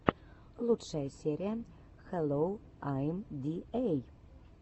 лучшая серия хэллоу айм ди эй